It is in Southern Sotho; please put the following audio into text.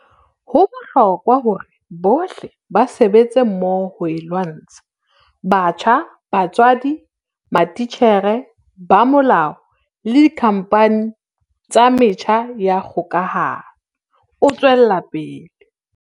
"Ho bohlokwa hore bohle ba sebetse mmoho ho e lwantsha - batjha, ba tswadi, matitjhere, ba molao le dikhampani tsa metjha ya kgokahano," o tswela pele.